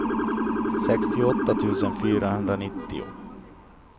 sextioåtta tusen fyrahundranittio